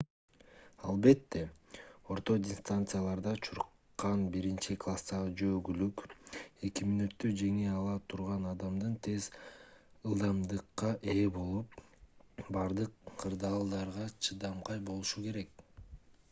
албетте орто дистанцияларда чуркан биринчи класстагы жөө күлүк эки мүнөттө жеңе ала турган адам тез ылдамдыкка ээ болуп бардык кырдаалдарда чыдамкай болушу керек